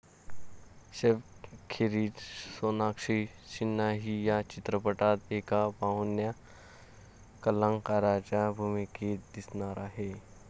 सैफखेरीज सोनाक्षी सिन्हाही या चित्रपटात एका पाहुण्या कलाकाराच्या भूमिकेत दिसणार आहे.